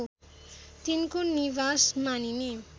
तिनको निवास मानिने